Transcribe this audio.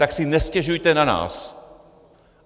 Tak si nestěžujte na nás.